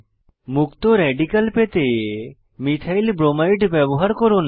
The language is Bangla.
মুক্ত রেডিক্যাল পেতে মিথাইল ব্রোমাইড ব্যবহার করুন